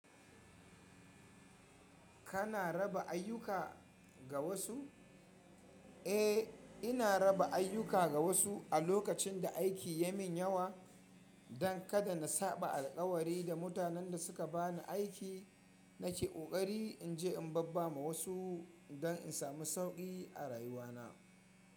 Kana raba ayyuka ga wasu? Eh ina raba ayyuka ga wasu a lokacin da aiki yai min yawa don kada na saɓa alkawari da mutanen da suka ba ni aiki, nake ƙoƙari in je in babba ma wasu don in sami sauƙi a rayuwa na.